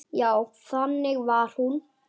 Já, þannig var hún.